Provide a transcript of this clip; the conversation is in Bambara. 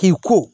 K'i ko